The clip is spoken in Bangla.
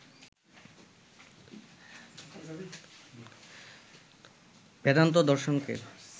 বেদান্ত দর্শনকে